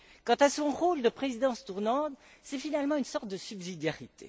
Quant à son rôle de présidence tournante, c'est, finalement, une sorte de subsidiarité.